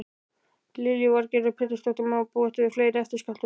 Lillý Valgerður Pétursdóttir: Má búast við fleiri eftirskjálftum?